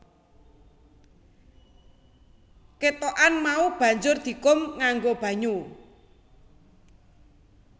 Ketokan mau banjur dikum nganggo banyu